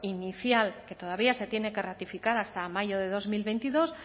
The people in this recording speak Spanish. inicial que todavía se tiene que ratificar hasta mayo de dos mil veintidós